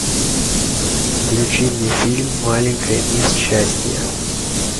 включи мне фильм маленькая мисс счастье